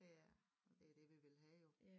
Ja det er det vi vil have jo